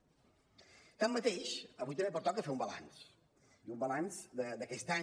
tanmateix avui també pertoca fer un balanç i un balanç d’aquest any